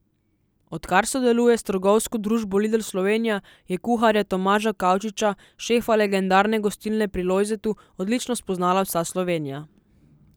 Odkar sodeluje s trgovsko družbo Lidl Slovenija, je kuharja Tomaža Kavčiča, šefa legendarne Gostilne pri Lojzetu, odlično spoznala vsa Slovenija.